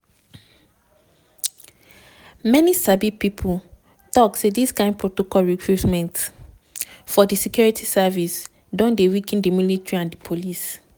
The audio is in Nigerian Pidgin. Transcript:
many sabi pipo tok say dis kind protocol recruitment for di security service don dey weaken di military and di police.